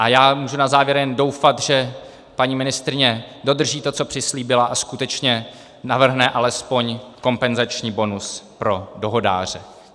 A já můžu na závěr jen doufat, že paní ministryně dodrží to, co přislíbila, a skutečně navrhne alespoň kompenzační bonus pro dohodáře.